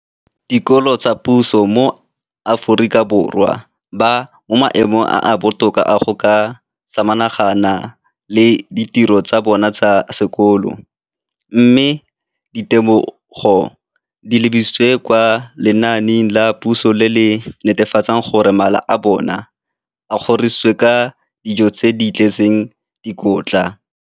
Dikolo tsa puso mo Aforika Borwa ba mo maemong a a botoka a go ka samagana le ditiro tsa bona tsa sekolo, mme ditebogo di lebisiwa kwa lenaaneng la puso le le netefatsang gore mala a bona a kgorisitswe ka dijo tse di tletseng dikotla.